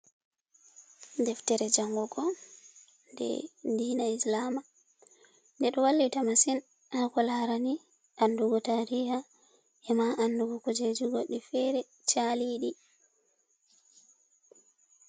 Deftere jangugo de dina islama, de ɗo wallita masin hako larani andugo tariha, e ma andugo kujeji goɗɗi fere chaliɗi.